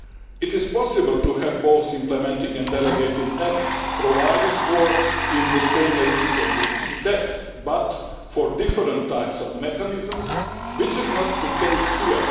It is possible to have both implementing and delegated acts provided for in the same legislative text but for different types of mechanisms, which is not the case here.